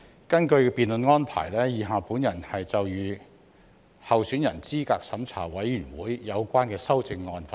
根據辯論安排，以下我就有關候選人資格審查委員會的修正案發言。